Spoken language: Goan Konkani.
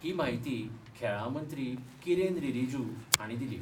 ही माहिती खेळा मंत्री किरेन रीजीजू हाणी दिली.